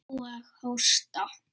Og hósta.